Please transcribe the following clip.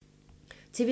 TV 2